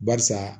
Barisa